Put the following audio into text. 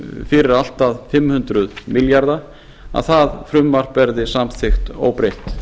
fyrir allt að fimm hundruð milljarða króna að það frumvarp verði samþykkt óbreytt